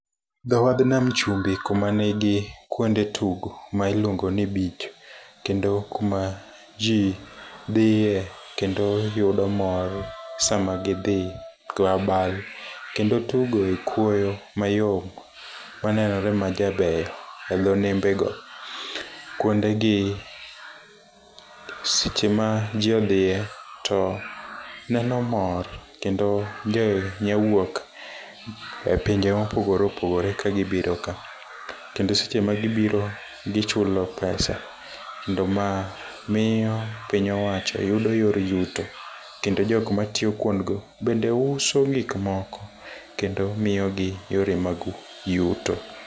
Dhowadh nam chumbi kuma nigi kuonde tugo. Ma iluongoni beach. Kendo kuma ji dhie kendo yudo mor sama gi dhi go abal kendo tugo ekuoyo mayom onenore majaber edho nembego. Kuondegi seche ma ji odhie to neno mor kendo ndher nya wuok epinje mopogore opogore ka gi biro ka. Kendo seche magi biro gichulo pesa. Kendo ma miyo piny owacho yudo yor yuto kendo jok matiyo kuondgo bende uso gik moko kendo miyogi yore mag yuto.